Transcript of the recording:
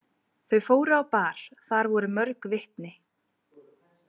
Þau fóru á bar, þar voru mörg vitni.